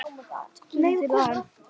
Kýldirðu hann?